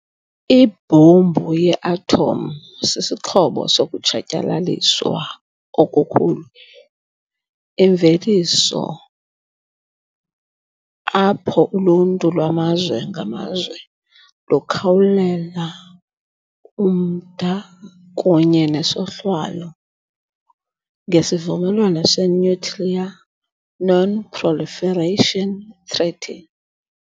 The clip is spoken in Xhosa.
Ibhombu ye-athomu sisixhobo sokutshatyalaliswa okukhulu, imveliso apho uluntu lwamazwe ngamazwe lukhawulela umda kunye nesohlwayo ngeSivumelwano seNuclear Non-Proliferation Treaty